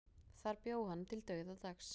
Þar bjó hann til dauðadags.